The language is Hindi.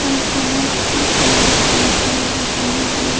बहुत पेड़ पौधे दिखाई दे--